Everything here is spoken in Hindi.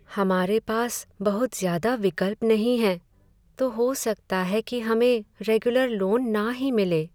हमारे पास बहुत ज़्यादा विकल्प नहीं हैं! तो हो सकता है कि हमें रेगुलर लोन ना ही मिले।